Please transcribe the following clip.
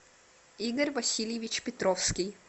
игорь васильевич петровский